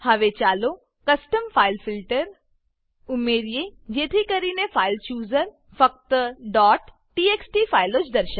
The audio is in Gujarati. હવે ચાલો custom file filter custom file filter ઉમેરીએ જેથી કરીને ફાઇલ ચૂઝર ફાઈલ ચુઝર ફક્ત txt ફાઈલો જ દર્શાવે